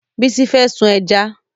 Bísí fẹ́ sun ẹja